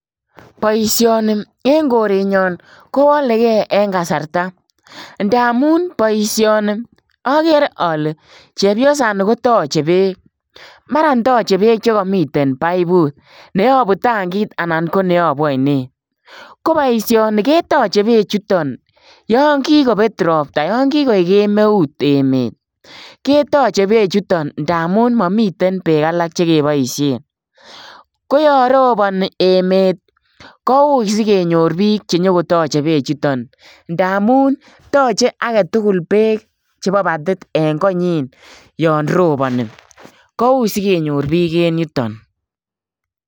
Boisoni en koreet nyaan kowalegei en kasarta ndamuun boisioni agere ale chepyosani koyachei beek chepyosaan nii koyachei beek che kamiten baibut cheabu tankiit anan anan ko che yabuu ainet ko boisioni kebaisheen beek chutoon yaan kikabet ropta ,yaan kikoek kemeut emet ke tachei beek chutoon ndamuun mamiten beek alaak che kebaisheen, ko yaan robani emet kowuit sikonyoor biik che nyoon ko yachei beek chutoon ndamuun tachei beek chebo mbatit en koanyiin yaan robani kowuit sikonyoor beek en yutoon.